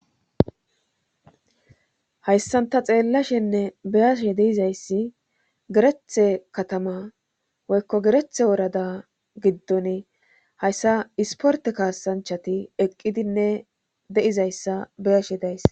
hayssan ta xeellashenne beyashe deizayssi gerethe katama woykko gerethe worada giddon hayssa isporte kaasanchati eqqidinne deizayssa beyashe dayssi